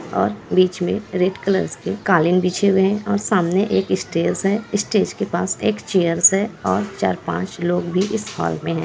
और यहां बीच में रेड कलर्स के कालीन बिछे हुए है और सामने एक स्टेज है स्टेज एक पास में एक चेयर्स है और चार-पांच लोग इस हॉल में है।